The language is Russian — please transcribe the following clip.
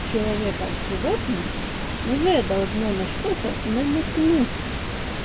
человека с животным уже должно на что-то намекнуть